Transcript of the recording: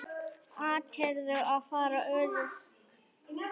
Áttirðu að vera örugg?